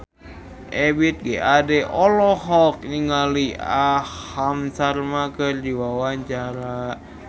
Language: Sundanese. Ebith G. Ade olohok ningali Aham Sharma keur diwawancara